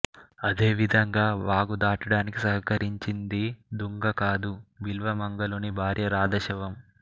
అదే విధంగా వాగు దాటడానికి సహకరిచింది దుంగ కాదు బిల్వమంగళుని భార్య రాధ శవం